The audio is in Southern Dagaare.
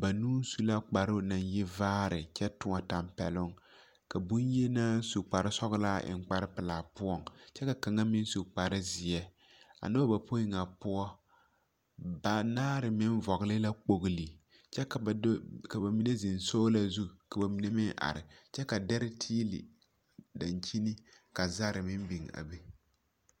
banuu su la kparoo naŋ yi vaare kyԑ tõͻ tԑmpԑloŋ, ka boŋyenaa su kpare sͻgelaa eŋ kpare pelaa poͻŋ kyԑ ka kaŋa meŋ su kpare zeԑ. A noba bapoi ŋa poͻ, banaare meŋ vͻgele la kpogili kyԑ ka ba do ka ba mine zeŋ soola zu ka ba mine meŋ are, kyԑ ka dԑre tiili daŋkyini ka zare meŋ biŋ a be.